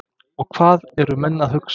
Og hvað eru menn að hugsa?